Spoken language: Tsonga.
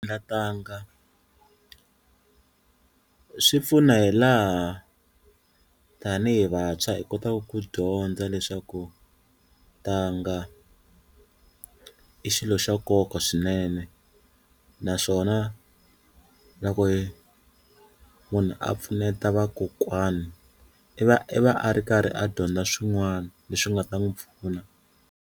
Nkatanga swi pfuna hi laha tanihi vantshwa hi kotaku ku dyondza leswaku tanga i xilo xa nkoka swinene naswona loko hi munhu a pfuneta vakokwani i va i va a ri karhi a dyondza swin'wani leswi nga ta n'wi pfuna.